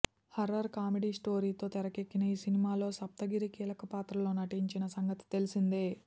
horror comedy స్టొరీతో తెరకెక్కిన ఈ సినిమాలో సప్తగిరి కీలక పాత్రలో నటించిన సంగతి తెలిసిందే